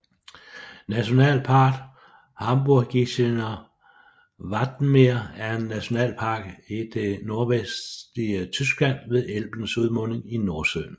Nationalpark Hamburgisches Wattenmeer er en nationalpark i det nordvestlige Tyskland ved Elbens udmunding i Nordsøen